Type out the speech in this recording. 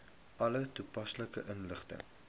alle toepaslike inligting